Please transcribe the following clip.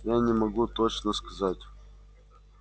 я не могу точно сказать